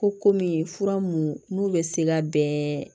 Ko kɔmi fura mun n'u bɛ se ka bɛn